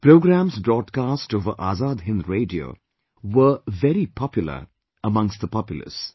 Programmes broadcast over Azad Hind Radio were very popular amongst the populace